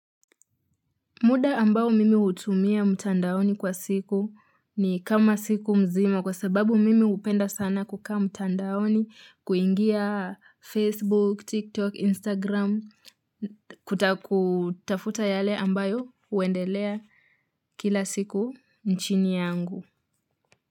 Muda ambao mimi hutumia mtandaoni kwa siku ni kama siku mzima kwa sababu mimi hupenda sana kukaa mtandaoni, kuingia Facebook, TikTok, Instagram, kutafuta yale ambayo huendelea kila siku nchini yangu.